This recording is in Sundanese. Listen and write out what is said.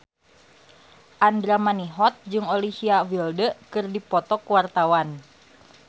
Andra Manihot jeung Olivia Wilde keur dipoto ku wartawan